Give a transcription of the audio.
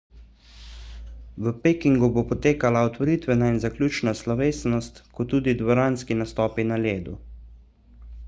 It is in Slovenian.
v pekingu bo potekala otvoritvena in zaključna slovesnost kot tudi dvoranski nastopi na ledu